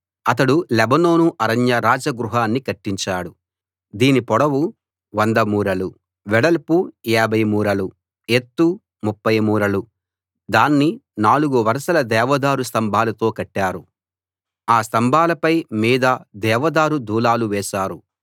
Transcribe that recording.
అతడు లెబానోను అరణ్య రాజగృహాన్ని కట్టించాడు దీని పొడవు 100 మూరలు వెడల్పు 50 మూరలు ఎత్తు 30 మూరలు దాన్ని నాలుగు వరసల దేవదారు స్తంభాలతో కట్టారు ఆ స్తంభాలపై మీద దేవదారు దూలాలు వేశారు